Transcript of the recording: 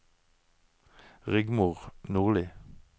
Rigmor Nordli